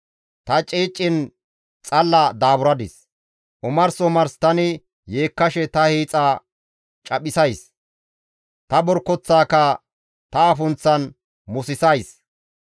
Ta ceecen xalla daaburadis; omars omars tani yeekkashe ta hiixa caphisays; ta borkoththaaka ta afunththan musissays.